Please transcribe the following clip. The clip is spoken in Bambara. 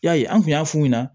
Yali an kun y'a f'u ɲɛna